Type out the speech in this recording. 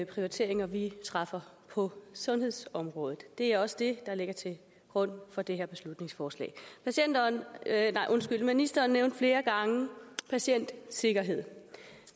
prioriteringer vi træffer på sundhedsområdet det er også det der ligger til grund for det her beslutningsforslag ministeren nævnte flere gange patientsikkerhed